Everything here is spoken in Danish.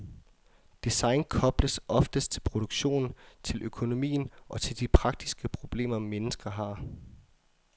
Design kobles oftest til produktionen, til økonomien og til de praktiske problemer mennesker har.